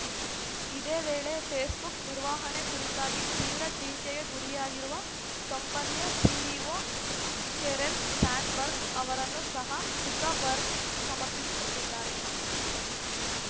ಇದೇ ವೇಳೆ ಫೇಸ್‌ಬುಕ್‌ ನಿರ್ವಹಣೆ ಕುರಿತಾಗಿ ತೀವ್ರ ಟೀಕೆಗೆ ಗುರಿಯಾಗಿರುವ ಕಂಪನಿಯ ಸಿಒಒ ಶೆರಿಲ್‌ ಸ್ಯಾಂಡ್‌ಬರ್ಗ್‌ ಅವರನ್ನು ಸಹ ಜುಕರ್‌ಬರ್ಗ್‌ ಸಮರ್ಥಿಸಿಕೊಂಡಿದ್ದಾರೆ